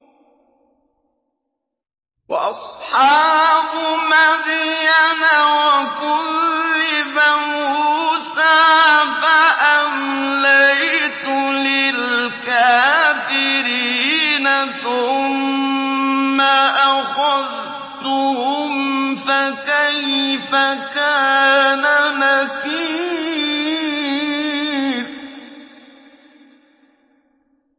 وَأَصْحَابُ مَدْيَنَ ۖ وَكُذِّبَ مُوسَىٰ فَأَمْلَيْتُ لِلْكَافِرِينَ ثُمَّ أَخَذْتُهُمْ ۖ فَكَيْفَ كَانَ نَكِيرِ